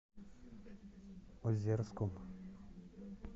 озерском